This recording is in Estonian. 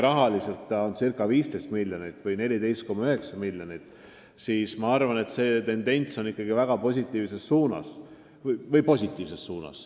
Rahas on see ca 15 miljonit, täpsemalt 14,9 miljonit ja ma arvan, et see tendents on ikkagi positiivne.